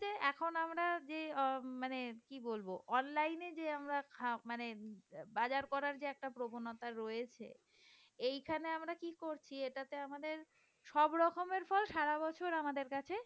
এখন আমরা যে মানে কি বলবো অনলাইনে আমরা যে মানে বাজার করার যে একটা প্রবণতা রয়েছে। এখানে আমরা কি করছি এটাতে আমাদের সব রকমের ফল সারা বছর আমাদের কাছে